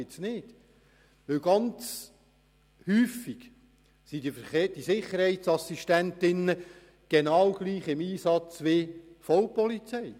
Häufig sind die Sicherheitsassistentinnen und Sicherheitsassistenten genau gleich im Einsatz wie die Vollpolizei.